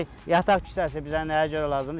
Yataq kisəsi bizə nəyə görə lazımdır?